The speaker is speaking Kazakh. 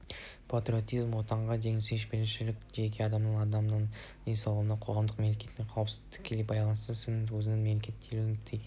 патриотизм отанға деген сүйіспеншілік жеке адамның аман-саулығы қоғамдық-мемлекеттік қауіпсіздікке тікелей байланыстылығын сезіну өзіңнің мемлекетке тәуелді екеніңді